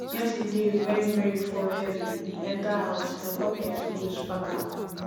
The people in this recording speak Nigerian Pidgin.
yesterday wen rain fall heavy e enter house na bucket we use pack am